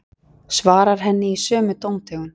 Svarar henni í sömu tóntegund.